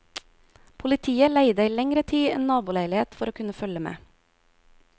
Politiet leide i lengre tid en naboleilighet for å kunne følge med.